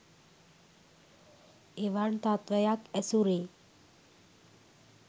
එවන් තත්ත්වයක් ඇසුරේ